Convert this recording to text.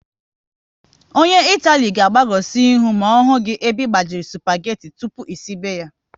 Ọnye Itali ga agbagosi ihu n'ohu gị ebe gbajiri supageti tụpụ esibe ya